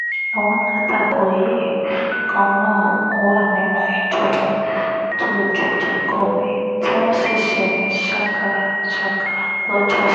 àwọn alátakò yìí kan náà wà nínú ìjọba tó dojú ìjà kọ mí tí wọ́n sì ṣe mí ṣàkàṣàkà lọ́jọ́sí